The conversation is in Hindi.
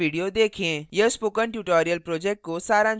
यह spoken tutorial project को सारांशित करता है